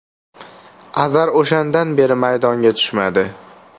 Azar o‘shandan beri maydonga tushmadi.